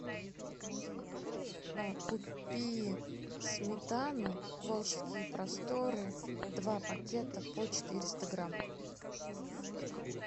купи сметану волжские просторы два пакета по четыреста грамм